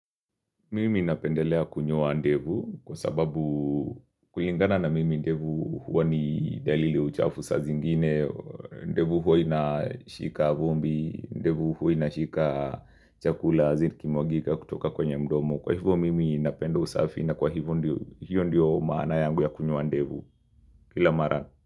Mimi napendelea kunyoa ndevu kwa sababu kulingana na mimi ndevu huwa ni dalili ya uchafu saa zingine ndevu huwa inashika vumbi, ndevu huwa inashika chakula zikimwagika kutoka kwenye mdomo kwa hivyo mimi napenda usafi na kwa hiyo ndiyo maana yangu ya kunyoa ndevu kila mara.